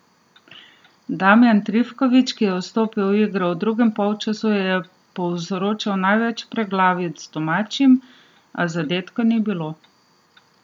Damjan Trifkovič, ki je vstopil v igro v drugem polčasu, je povzročal največ preglavic domačim, a zadetka ni bilo.